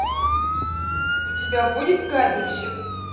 у тебя будет кабельщик